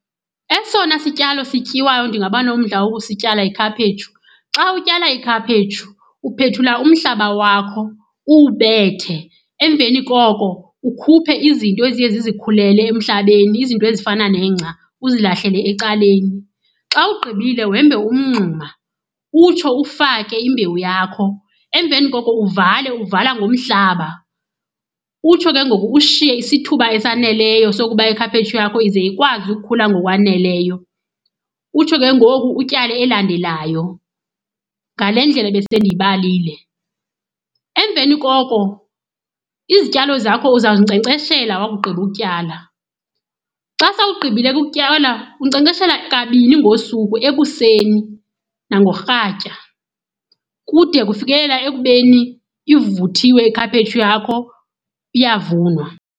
Esona sityalo sityiwayo ndingabanomdla wokusityala yikhaphetshu. Xa utyala ikhaphetshu uphethula umhlaba wakho uwubethe, emveni koko ukhuphe izinto eziye zizikhulele emhlabeni, izinto ezifana nengca uzilahlele ecaleni. Xa ugqibile wembe umngxuma utsho ufake imbewu yakho, emveni koko uvale, uvala ngumhlaba. Utsho ke ngoku ushiye isithuba esaneleyo sokuba ikhaphetshu yakho ize ikwazi ukukhula ngokwaneleyo. Utsho ke ngoku utyale elandelayo ngale ndlela ebesendiyibalile. Emveni koko izityalo zakho uzawuzinkcenkceshela wakugqiba ukutyala. Xa sowugqibile ukutyala, unkcenkceshela kabini ngosuku ekuseni nangorhatya kude kufikelela ekubeni ivuthiwe ikhaphetshu yakho iyavunwa.